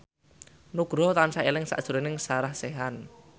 Nugroho tansah eling sakjroning Sarah Sechan